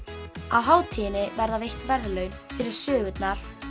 á hátíðinni verða veit verðlaun fyrir sögurnar